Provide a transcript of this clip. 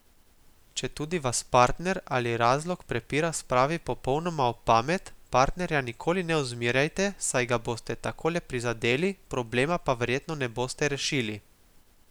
Četudi vas partner ali razlog prepira spravi popolnoma ob pamet, partnerja nikakor ne ozmerjajte, saj ga boste tako le prizadeli, problema pa verjetno ne boste rešili.